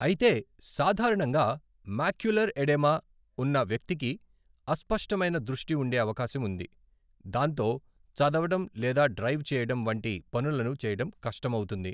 అయితే, సాధారణంగా macular oedema ఉన్న వ్యక్తికి అస్పష్టమైన దృష్టి ఉండే అవకాశం ఉంది, దాంతో చదవడం లేదా డ్రైవ్ చేయడం వంటి పనులను చేయడం కష్టమవుతుంది.